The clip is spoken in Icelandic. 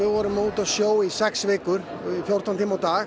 vorum úti á sjó í sex vikur í fjórtán tíma á dag